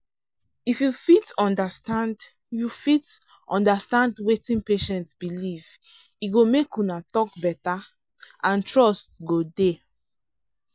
if you fit understand you fit understand wetin patient believe e go make una talk better and trust go dey.